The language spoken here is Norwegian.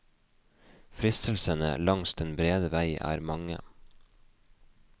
Fristelsene langs den brede vei er mange.